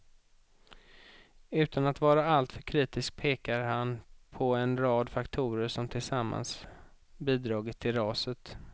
Utan att vara allt för kritisk pekar han på en rad faktorer som tillsammans bidragit till raset.